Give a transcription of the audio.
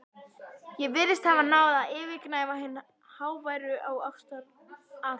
Ég virðist hafa náð að yfirgnæfa hin háværu ástaratlot